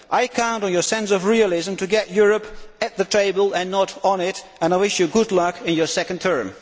I count on your sense of realism to get Europe at the table and not on it, and I wish you good luck in your second term.